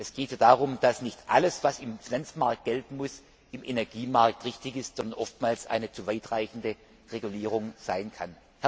Es geht darum, dass nicht alles, was im Finanzmarkt gelten muss, auch für den Energiemarkt richtig ist, sondern oftmals eine zu weit reichende Regulierung sein